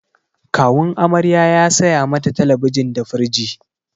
Kawun amarya ya saya mata talabijin di firij.